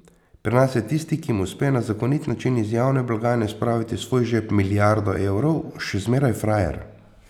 Pri nas je tisti, ki mu uspe na zakonit način iz javne blagajne spraviti v svoj žep milijardo evrov, še zmeraj frajer.